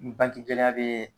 N bangi gɛlɛya bɛ